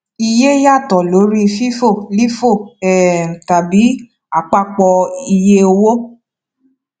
iye yàtọ lórí fifo lifo um tàbí àpapọ iye owó